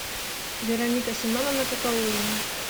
вероника семеновна какаулина